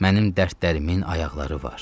Mənim dərdlərimin ayaqları var.